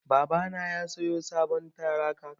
Babana ya siyo sabon tarakta.